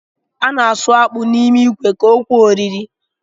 A na-asụ akpụ n’ime ikwe ka o kwe oriri